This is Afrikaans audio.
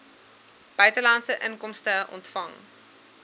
buitelandse inkomste ontvang